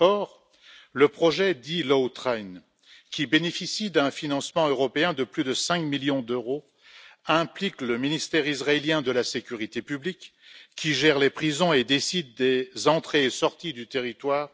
Or, le projet dit Lawtrain, qui bénéficie d'un financement européen de plus de 5 millions d'euros, implique le ministère israélien de la sécurité publique, qui gère les prisons et décide des entrées et sorties du territoire.